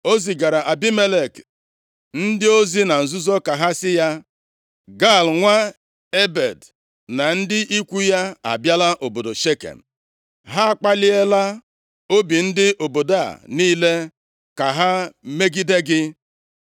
O zigara Abimelek ndị ozi na nzuzo ka ha sị ya, “Gaal nwa Ebed na ndị ikwu ya abịala obodo Shekem. Ha akpaliela obi ndị obodo a niile ka ha megide gị.